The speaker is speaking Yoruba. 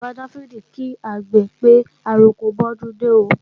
Bàbá Dáfídì kí àgbè pé, àroko bọ́dúndé ó